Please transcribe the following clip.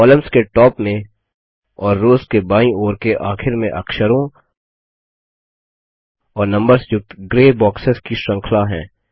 columns के top में और रोज के बाईं ओर के आखिर में अक्षरों और नम्बर्स युक्त ग्रै बॉक्सेस की श्रृंखला हैं